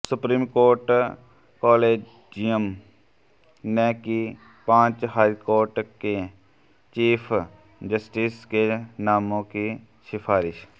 supreme court collegium ने की पांच हाईकोर्ट के चीफ जस्टिस के नामों की सिफारिश